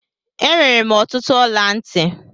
Enwere m ọtụtụ ọla ntị.